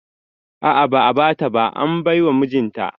A'a ba'a bata ba, an baiwa mijinta ne